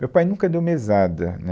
Meu pai nunca deu mesada, né